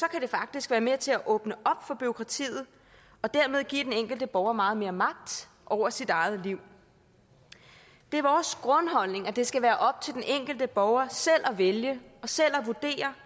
kan det faktisk være med til at åbne op for bureaukratiet og dermed give den enkelte borger meget mere magt over sit eget liv det er vores grundholdning at det skal være op til den enkelte borger selv at vælge og selv at vurdere